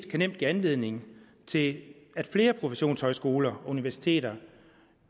nemt give anledning til at flere professionshøjskoler og universiteter